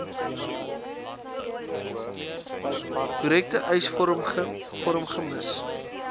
korrekte eisvorm gems